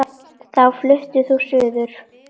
Þá fluttir þú suður.